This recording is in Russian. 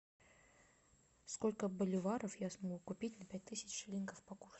сколько боливаров я смогу купить на пять тысяч шиллингов по курсу